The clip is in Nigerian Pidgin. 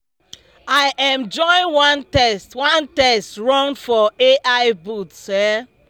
i um join one test one test run for ai bots um